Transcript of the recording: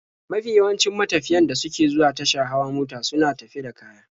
Mafi yawancin matafiyan da suke zuwa tasha hawa mota suna tafe da kaya.